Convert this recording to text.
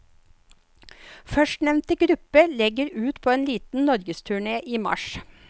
Førstnevnte gruppe legger ut på en liten norgesturné i mars.